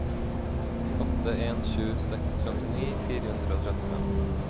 åtte en sju seks femtini fire hundre og trettifem